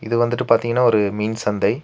இது வந்துட்டு பாத்தீங்னா ஒரு மீன் சந்தை.